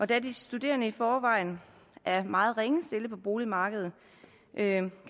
da de studerende i forvejen er meget ringe stillet på boligmarkedet kan